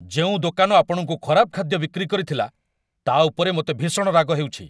ଯେଉଁ ଦୋକାନ ଆପଣଙ୍କୁ ଖରାପ ଖାଦ୍ୟ ବିକ୍ରି କରିଥିଲା, ତା' ଉପରେ ମୋତେ ଭୀଷଣ ରାଗ ହେଉଛି।